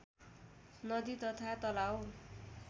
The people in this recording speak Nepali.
नदी तथा तलाउ